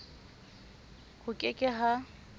ho ke ke h a